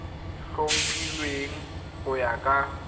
o tlhophilweng go ya ka